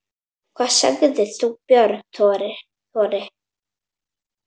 Hvað segir þú, Björn Þorri?